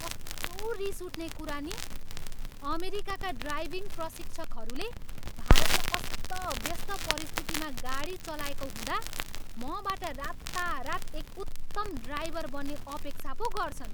कस्तो रिसउठ्ने कुरा नि, अमेरिकाका ड्राइभिङ प्रशिक्षकहरूले भारतमा अस्तव्यस्त परिस्थितिमा गाडी चलाएको हुँदा मबाट रातारात एक उत्तम ड्राइभर बन्ने अपेक्षा पो गर्छन्।